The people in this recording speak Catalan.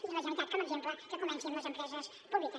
i la genera·litat com a exemple que comenci amb les empreses públiques